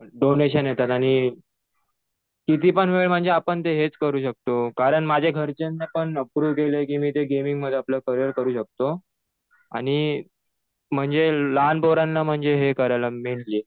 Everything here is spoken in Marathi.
डोनेशन येतात आणि कितीपण वेळ म्हणजे आपण ते हेच करू शकतो. कारण माझ्या घरच्यांनी पण अप्रूव्ह केलं कि मी ते गेमिंग मध्ये आपलं करीयर करू शकतो. आणि म्हणजे लहान पोरांना म्हणजे हे करायला मेन जे